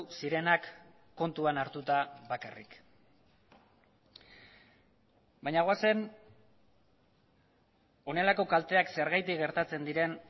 zirenak kontuan hartuta bakarrik baina goazen honelako kalteak zergatik gertatzen diren